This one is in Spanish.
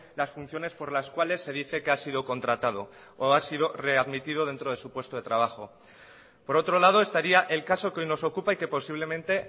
las funciones por las cuales se dice que ha sido contratado o ha sido readmitido dentro de su puesto de trabajo por otro lado estaría el caso que hoy nos ocupa y que posiblemente